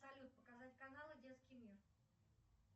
салют показать каналы детский мир